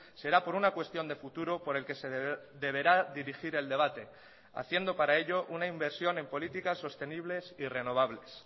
será por una cuestión de futuro por el que se deberá dirigir el debate haciendo para ello una inversión en políticas sostenibles y renovables